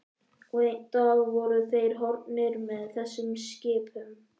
Og einn dag voru þeir horfnir með þessum skipum.